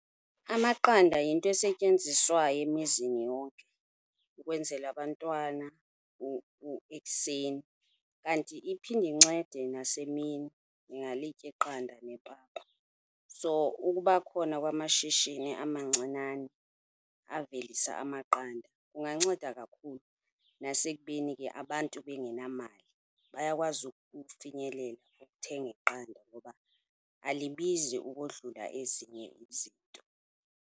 Amaqanda yinto esetyenziswayo emizini yonke ukwenzela abantwana ekuseni. Kanti iphinde incede nasemini, ndingalitya iqanda nepapa. So, ukuba khona kwamashishini amancinane avelisa amaqanda kunganceda kakhulu, nasekubeni ke abantu bengenamali, bayakwazi ukufinyelela, ukuthenga iqanda ngoba alibizi ukodlula ezinye izinto.